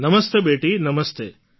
નમસ્તે બેટી નમસ્તે